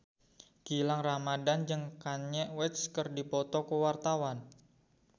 Gilang Ramadan jeung Kanye West keur dipoto ku wartawan